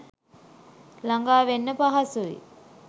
ලඟා වෙන්න පහසුයි..